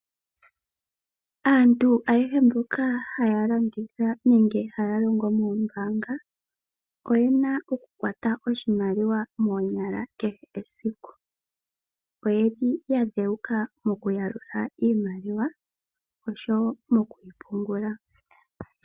Aantu ayehe mboka haya landitha nenge haya longo moombanga oyena oku kwata oshimaliwa moonyala kehe esiku, oyeli ya dhewuka moku yalula iimaliwa nomokuyi pungula.